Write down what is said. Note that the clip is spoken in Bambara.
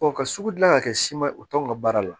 ka sugu dilan ka kɛ si ma o t'anw ka baara la